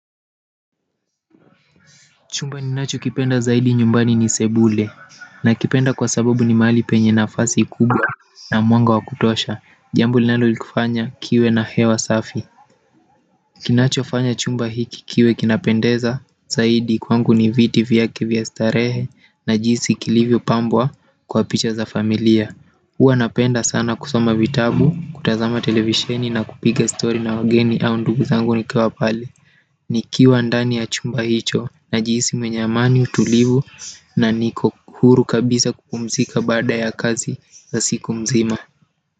Chumba ninacho kipenda zaidi nyumbani ni sebule na kipenda kwa sababu ni mahali penye nafasi kubwa na mwanga wa kutosha jambo linalolifanya kiwe na hewa safi kinacho fanya chumba hiki kiwe kinapendeza zaidi kwangu ni viti vyake vya starehe na jinsi kilivyo pambwa kwa picha za familia hua napenda sana kusoma vitabu, kutazama televisheni na kupiga story na wageni au ndugu zangu nikiwa pale nikiwa ndani ya chumba hicho najihisi mwenye amani utulivu na niko huru kabisa kukupumzika baada ya kazi za siku mzima.